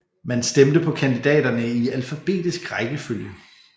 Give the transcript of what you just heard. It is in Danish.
Man stemte på kandidaterne i alfabetisk rækkefølge